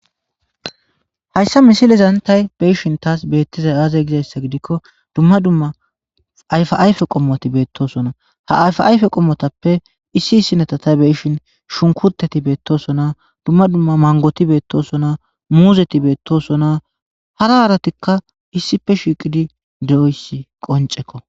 hayssa misilizan tay beyishin taas beettizay aaze gizayssa gidikko dumma dumma ayfaayfe qommoti beettosona ha ayfa ayfe qommotappe issi issineta tay beyishin shunkuteti beettosona dumma dumma mangoti beettosona muuzeti beettosona hara haaratikka issife shiiqidi di7oysi qoncekko